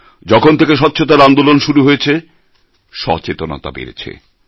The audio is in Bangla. যখন থেকে স্বচ্ছতার আন্দোলন শুরু হয়েছে সচেতনতা বেড়েছে